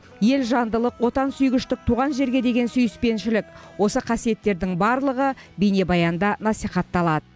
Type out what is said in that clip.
елжандылық отансүйгіштік туған жерге деген сүйіспеншілік осы қасиеттердің барлығы бейнебаянда насихатталады